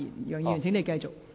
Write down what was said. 楊議員，請你繼續。